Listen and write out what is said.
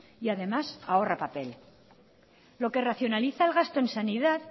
y además ahorra papel lo que racionaliza el gasto en sanidad